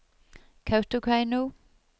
Kautokeino